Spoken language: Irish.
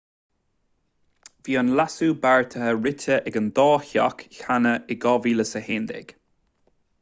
bhí an leasú beartaithe rite ag an dá theach cheana in 2011